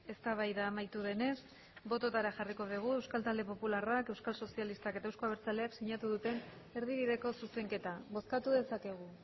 eztabaida amaitu denez bototara jarriko dugu euskal talde popularrak euskal sozialistak eta euzko abertzaleak sinatu duten erdibideko zuzenketa bozkatu dezakegu